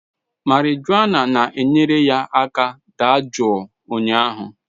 Marijuana na-enyere ya aka dajụọ ụnyahụ